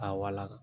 A wala